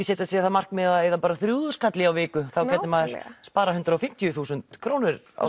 setja sér það markmið að eyða bara þrjú þúsund kalli á viku þá gæti maður sparað hundrað og fimmtíu þúsund krónur á